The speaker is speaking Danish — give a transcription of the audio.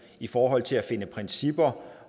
i forhold til at finde principper